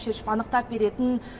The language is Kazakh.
шешіп анықтап беретін